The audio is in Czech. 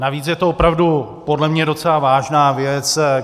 Navíc je to opravdu podle mě docela vážná věc.